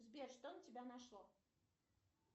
сбер что на тебя нашло